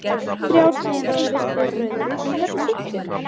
Þrjár sneiðar af ristuðu brauði en hvernig sultu?